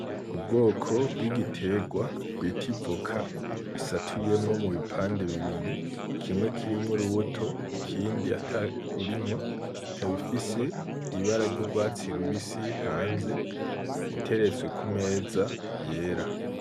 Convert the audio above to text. Ubwoko bw'igiterwa bita ivoka risatuyemwo mubipande bibiri, kimwe kirimwo urubuto ikindi atarurimwo ikaba ifise ibara ryurwatsi rubusi hanze iteretswe kumeza yera.